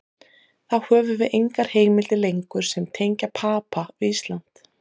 Þá höfum við engar heimildir lengur sem tengja Papa við Ísland.